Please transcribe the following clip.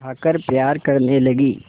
उठाकर प्यार करने लगी